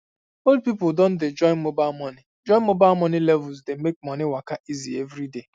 old people don dey join mobile money join mobile money levels dey make money waka um easy every day um